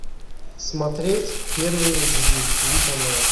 смотреть первый эйч ди ти ви канал